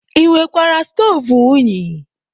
E nwekwara stoovu unyi.